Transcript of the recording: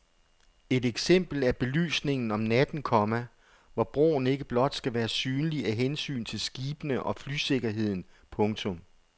Et eksempel er belysningen om natten, komma hvor broen ikke blot skal være synlig af hensyn til skibene og flysikkerheden. punktum